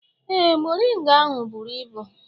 Ee, moringa ahụ buru ibu